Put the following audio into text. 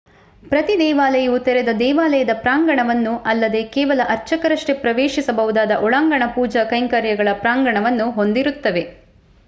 ಪ್ರತಿ ದೇವಾಲಯವು ತೆರೆದ ದೇವಾಲಯದ ಪ್ರಾಂಗಣವನ್ನು ಅಲ್ಲದೇ ಕೇವಲ ಅರ್ಚಕರಷ್ಟೇ ಪ್ರವೇಶಿಸಬಹುದಾದ ಒಳಾಂಗಣ ಪೂಜಾ ಕೈಂಕರ್ಯಗಳ ಪ್ರಾಂಗಣವನ್ನು ಹೊಂದಿರುತ್ತವೆ